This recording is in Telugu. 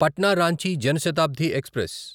పట్నా రాంచి జన్ శతాబ్ది ఎక్స్ప్రెస్